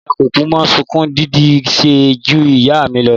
Ìyá kòkú mọ ṣúku dídì se ju ìyá mi lọ.